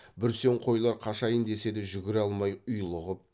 бүрсең қойлар қашайын десе де жүгіре алмай ұйлығып